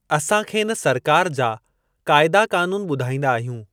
असां खेनि सरकार जा क़ाइदा क़ानून ॿुधाईंदा आहियूं।